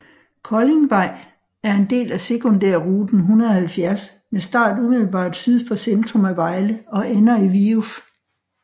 Koldingvej er en del af sekundærrute 170 med start umiddelbart syd for centrum af Vejle og ender i Viuf